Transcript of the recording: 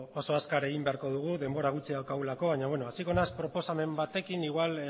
oso azkar egin beharko dugu denbora gutxi daukagulako baina beno hasiko naiz proposamen batekin igual